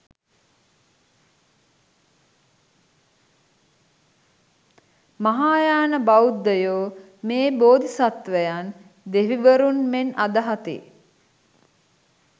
මහායාන බෞද්ධයෝ මේ බෝධිසත්වයන් දෙවිවරුන් මෙන් අදහති.